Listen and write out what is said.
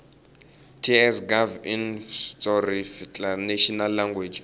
ts gov inf tsoarticlenational language